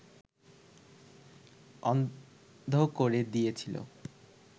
অন্ধ করে দিয়েছিল